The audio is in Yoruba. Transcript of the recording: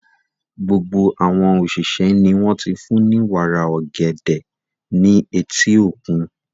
Gbogbo àwọn òṣìṣẹ́ ni wọ́n ti fún ní wàrà ọ̀gẹ̀dẹ̀ ní etí òkun.